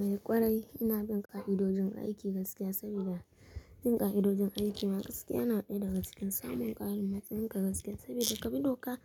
Eh ƙwarai, ina bun ƙa'idojin aiki gaskiya sabida, bin ƙa'idojin aiki na, gaskiya na daya daga cikin samun ƙarin matsaya yin ka gaskiya saboda kabi doka